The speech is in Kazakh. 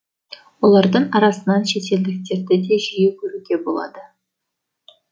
олардың арасынан шетелдіктерді де жиі көруге болады